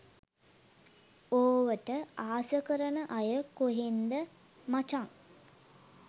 ඕවට ආස කරන අය කොහෙන්ද මචන්.